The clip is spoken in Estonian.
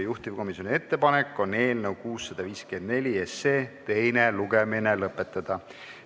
Juhtivkomisjoni ettepanek on eelnõu 654 teine lugemine lõpetada.